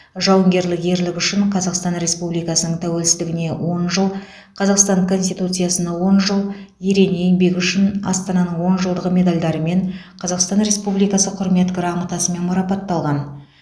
жауынгерлік ерлігі үшін қазақстан республикасының тәуелсіздігіне он жыл қазақстан конституциясына он жыл ерен еңбегі үшін астананың он жылдығы медальдарымен қазақстан республикасы құрмет грамотасымен марапатталған